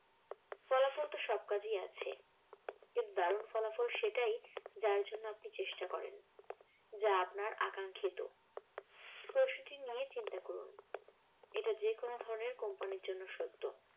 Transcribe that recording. ফলাফল তো সবকাজেই আছে কিন্তু দারুন ওলাফল সেটাই যার জন্য আপনি চেষ্টা করেন। যা আপনার আকাঙ্খিত। প্রশ্ন টি নিয়ে চিন্তা করুন এটা যেকোনো ধরণের কোম্পানির জন্য সত্য।